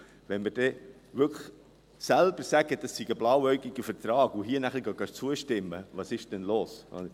Wenn wir wirklich selber sagen, das sei ein blauäugiger Vertrag, und hier nun zustimmen – was ist denn da los?